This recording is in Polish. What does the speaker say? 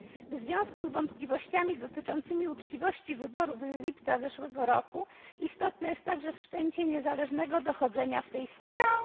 W związku z wątpliwościami co do uczciwości wyborów z lipca zeszłego roku istotne jest także wszczęcie niezależnego dochodzenia w tej sprawie.